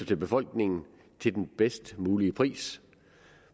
til befolkningen til den bedst mulige pris